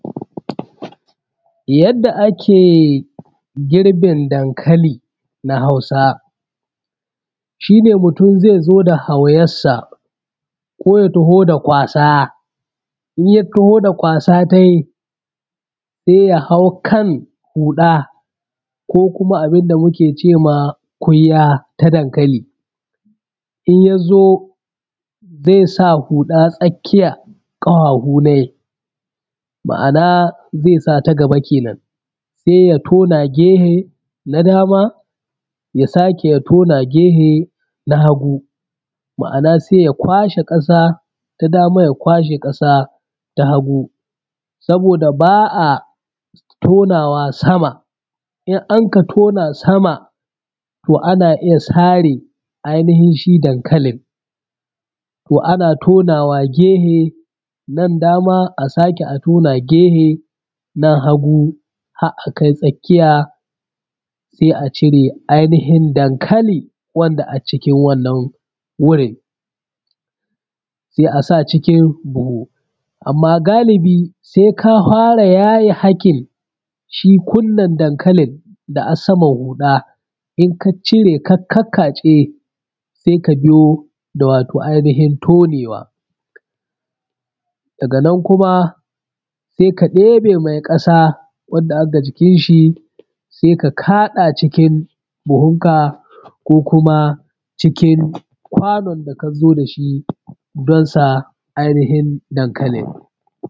Yadda ake girbin Dankali na hausa, shi ne mutum zai zo da hauyarsa ko ya taho da kwasa, in ya taho da kwasa tai sai ya hau kan huɗa ko kuma abinda da muke cema kwiwa ta dankali, in ya zo ze sa huda tsakiyar kahahu nai, ma’ana zai ta gaba kenen, sai ya tona gefe na dama ya sake ya tona gehe na hagu, ma’ana sai ya kwashe ƙasa ta dama ya kwashe ƙasa ta hagu saboda ba a tonawa sama, in anka tona sama to ana iya sare ainihin shi dankalin, to ana tonawa gehe nan dama a sake tona gehe na hagu har a kai tsakiya sai a cire ainihin dankali wanda a cikin wannan wurin, sai a sa cikin buhu amma galibi sai ka hwra yaye haƙin shi kunan dankalin da a saman huɗa, in ka cire ka kakkatse sai ka biyo da wato ainihin tonewa, daga nan kuma sai ka ɗebe mai ƙasa wadda aga jikin shi sai ka kada cikin buhunka ko kuma cikin kwanon da ka zo da shi don sa ainihin dankalin.